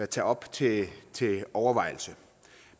tage op til overvejelse